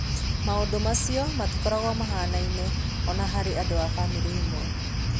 Maũndũ macio matikoragwo mahanaine, o na harĩ andũ a famĩlĩ ĩmwe.